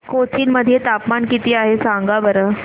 कोचीन मध्ये तापमान किती आहे सांगा बरं